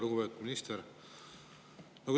Lugupeetud minister!